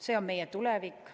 See on meie tulevik.